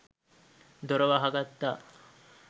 දොර වහගත්තා.